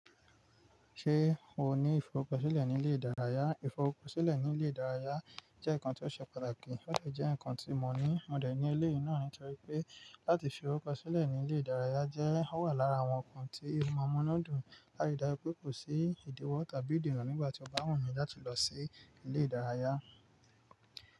Ṣé o ní ìfọ̀ruko silé ní ilé ìdárayá? Ìfọ̀ ruko silé ní ilé ìdárayá jẹ́ ǹkan tó ṣe pàtàkì. Ó lè jẹ́ ǹkan tí mọ ní mọ̀ dẹ̀ ní eléyì náà nítorí pé láti fi ọrukoọ́ silẹ̀ ní ilé ìdárayá jẹ́ ó wà lára àwọn ǹkan tí oma múnu dùn látì ri dàju pé kò sí ìdíwọ̀ tàbí ìdína nígbà tí ọba wumi láti lọ sí ilé ìdárayá.